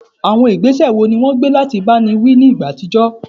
Àwọn ìgbésẹ̀ wo ni wọ́n gbé láti báni wí nígbà àtijọ́?